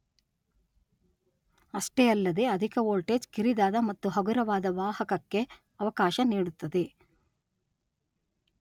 ಅಷ್ಟೇ ಅಲ್ಲದೇ ಅಧಿಕ ವೋಲ್ಟೇಜ್ ಕಿರಿದಾದ ಮತ್ತು ಹಗುರವಾದ ವಾಹಕಕ್ಕೆ ಅವಕಾಶ ನೀಡುತ್ತದೆ.